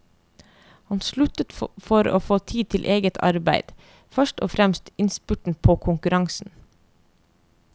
Hun sluttet for å få tid til eget arbeid, først og fremst innspurten på konkurransen.